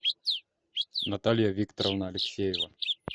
наталья викторовна алексеева